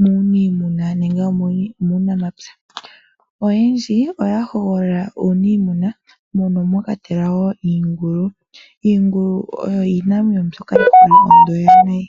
muniimuna nenge eli muunamapya, oyendji oyahogolola uunimuna mono mwakwatelwa wo iingulu, iingulu iinamwenyo mbyoka yina onyama ontoye nayi.